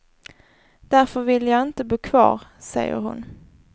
Därför ville jag inte bo kvar, säger hon.